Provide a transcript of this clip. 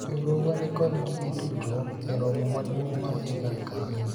riwruogwa nikog gige tudruok e romo maduong' ma higa ka higa